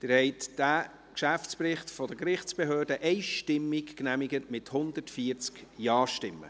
Sie haben den Geschäftsbericht der Gerichtsbehörden einstimmig genehmigt, mit 140 JaStimmen.